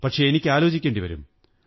പക്ഷേ എനിക്ക് ആലോചിക്കേണ്ടി വരും